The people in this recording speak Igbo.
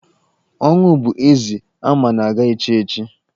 Ọnwụ bụ eze ama na-aga echi echi.